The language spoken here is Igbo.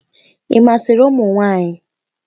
Ị masịrị ụmụ nwanyị?